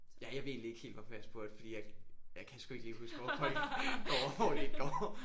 Ja jeg ved egentlig ikke helt hvorfor jeg spurgte fordi jeg jeg kan sgu ikke lige huske hvor folk går og hvor de ikke går